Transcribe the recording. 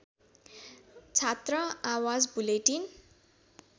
छात्र आवाज बुलेटिन